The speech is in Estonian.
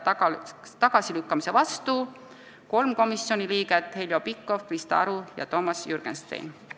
Tagasilükkamise vastu oli 3 komisjoni liiget: Heljo Pikhof, Krista Aru ja Toomas Jürgenstein.